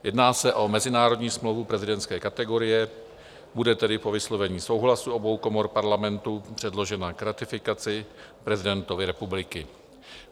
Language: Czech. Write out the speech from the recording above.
Jedná se o mezinárodní smlouvu prezidentské kategorie, bude tedy po vyslovení souhlasu obou komor Parlamentu předložena k ratifikaci prezidentovi republiky.